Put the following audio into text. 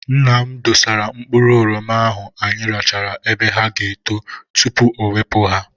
Nna m dosara mkpụrụ oroma ahụ anyị rachara ebe ha ga- eto tupu ọ wepụ ha.